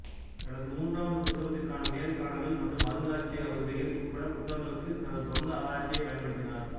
தனது மூன்றாவது புத்தகத்திற்கான நேர்காணல்கள் மற்றும் அருங்காட்சியக வருகைகள் உட்பட்ட புத்தகங்களுக்கு தனது சொந்த ஆராய்ச்சியைப் பயன்படுத்தினார்